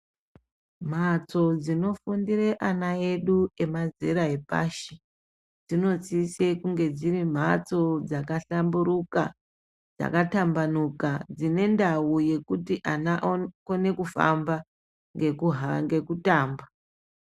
Mhatso dzinofundire ana edu emazera epashi dzinosise kunge dziri mhatso dzakahlamburuka, dzakatambanuka dzine ndau yekuti ana akone kufamba, nekuhamba nekutamba.